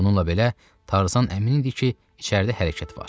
Bununla belə Tarzan əmin idi ki, içəridə hərəkət var.